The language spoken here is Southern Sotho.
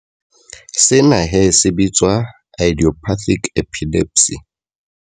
Sena he se bitswa idiopathic epilepsy.